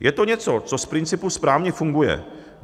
Je to něco, co z principu správně funguje.